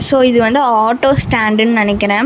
தொ இது வந்து ஆட்டோ ஸ்டேண்டுன்னு நெனைக்கற.